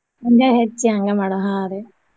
ಹಂಗ ಹೆಚ್ಚಿ ಹಂಗ ಮಾಡವ್ ಹಾ ರೀ.